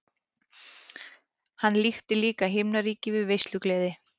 Hann líkti líka himnaríki við veislugleði.